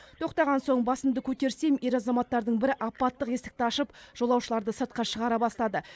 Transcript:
тоқтаған соң басымды көтерсем ер азаматтардың бірі апаттық есікті ашып жолаушыларды сыртқа шығара бастады